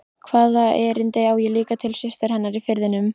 Hvaða erindi á ég líka til systur hennar í Firðinum?